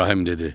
İbrahim dedi.